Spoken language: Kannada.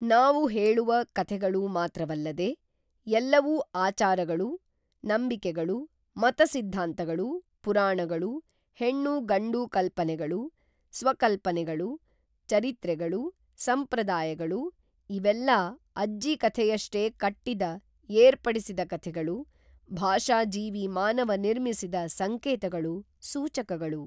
ನಾವು ಹೇಳುವ ಕಥೆಗಳು ಮಾತ್ರವಲ್ಲದೆ, ಎಲ್ಲವೂ ಆಚಾರಗಳು, ನಂಬಿಕೆಗಳು, ಮತಸಿದ್ಧಾಂತಗಳು, ಪುರಾಣಗಳು, ಹೆಣ್ಣು-ಗಂಡು ಕಲ್ಪನೆಗಳು, ಸ್ವಕಲ್ಪನೆಗಳು, ಚರಿತ್ರೆಗಳು, ಸಂಪ್ರದಾಯಗಳು-ಇವೆಲ್ಲಾ ಅಜ್ಜಿಕಥೆಯಷ್ಟೇ ಕಟ್ಟಿದ, ಏರ್ಪಡಿಸಿದ ಕಥೆಗಳು, ಭಾಷಾಜೀವಿ ಮಾನವ ನಿರ್ಮಿಸಿದ ಸಂಕೇತಗಳು, ಸೂಚಕಗಳು.